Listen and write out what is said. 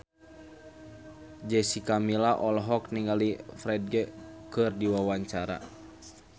Jessica Milla olohok ningali Ferdge keur diwawancara